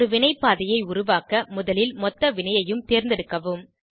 ஒரு வினை பாதையை உருவாக்க முதலில் மொத்த வினையையும் தேர்ந்தெடுக்கவும்